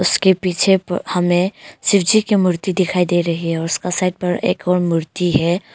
उसके पीछे हमें शिवजी की मूर्ति दिखाई दे रही है और उसका साइड पर एक और मूर्ति है।